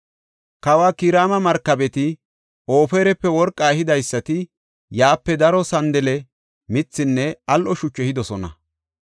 (Kawa Kiraama markabeti, Ofirape worqa ehidaysati yaape daro sandale mithinne al7o shuchu ehidosona.